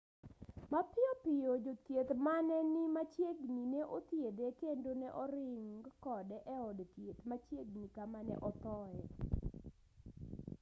mapiyo piyo jothieth mane ni machiegni ne othiedhe kendo ne oring kode e od thieth machiegni kama ne othoe